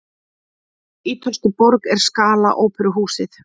Í hvaða ítölsku borg er Scala óperuhúsið?